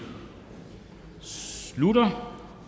slutter